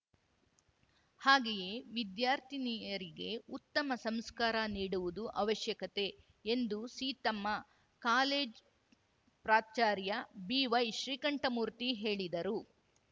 ಹಾಗೆಯೇ ವಿದ್ಯಾರ್ಥಿನಿಯರಿಗೆ ಉತ್ತಮ ಸಂಸ್ಕಾರ ನೀಡುವುದು ಅವಶ್ಯಕತೆ ಎಂದು ಸೀತಮ್ಮ ಕಾಲೇಜ್ ಪ್ರಾಚಾರ್ಯ ಬಿವೈಶ್ರೀಕಂಠಮೂರ್ತಿ ಹೇಳಿದರು